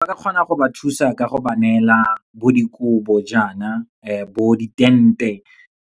Ba ka kgona go ba thusa ka go ba neela bo dikobo jaana, bo di-tent-e,